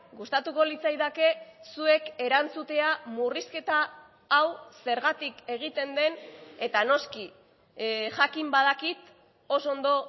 gustatuko litzaidake zuek erantzutea murrizketa hau zergatik egiten den eta noski jakin badakit oso ondo